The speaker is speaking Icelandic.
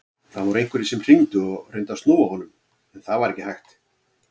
Það voru einhverjir sem hringdu og reyndu að snúa honum en það var ekki hægt.